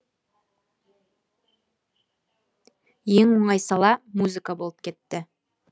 ең оңай сала музыка болып кетті